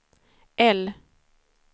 L